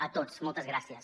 a tots moltes gràcies